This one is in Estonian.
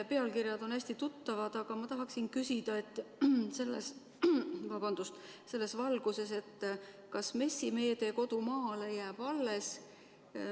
Pealkirjad on hästi tuttavad, aga ma tahaksin küsida selles valguses, kas MES-i meede "Kodu maale" jääb alles.